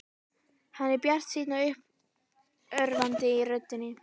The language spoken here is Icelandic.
Hann er bjartsýnn og uppörvandi í röddinni.